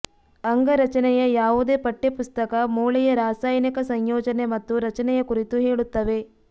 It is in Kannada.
ಅಂಗರಚನೆಯ ಯಾವುದೇ ಪಠ್ಯಪುಸ್ತಕ ಮೂಳೆಯ ರಾಸಾಯನಿಕ ಸಂಯೋಜನೆ ಮತ್ತು ರಚನೆಯ ಕುರಿತು ಹೇಳುತ್ತವೆ